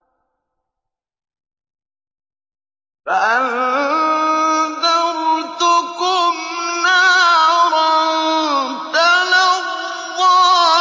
فَأَنذَرْتُكُمْ نَارًا تَلَظَّىٰ